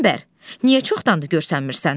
Qəmbər, niyə çoxdandır görsənmirsən?